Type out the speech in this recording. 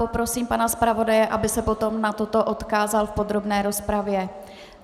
Poprosím pana zpravodaje, aby se potom na toto odkázal v podrobné rozpravě.